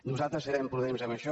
nosaltres serem prudents en això